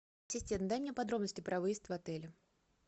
ассистент дай мне подробности про выезд в отеле